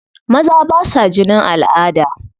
Maza ba sa jinin al'ada.